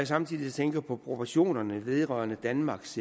samtidig tænker på proportionerne vedrørende danmarks